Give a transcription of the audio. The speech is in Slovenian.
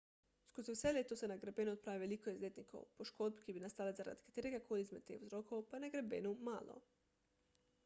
skozi vse leto se na greben odpravi veliko izletnikov poškodb ki bi nastale zaradi katerega koli izmed teh vzrokov pa je na grebenu malo